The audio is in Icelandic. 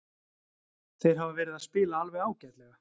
Þeir hafa verið að spila alveg ágætlega.